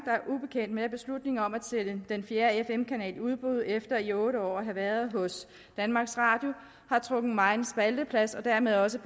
ubekendt med at beslutningen om at sende den fjerde fm kanal i udbud efter den i otte år havde været hos danmarks radio har trukket megen spalteplads og dermed også